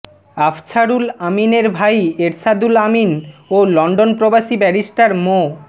আফছারুল আমীনের ভাই এরশাদুল আমীন ও লন্ডন প্রবাসী ব্যারিস্টার মো